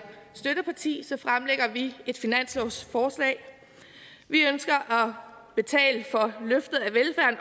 støtteparti et finanslovsforslag vi ønsker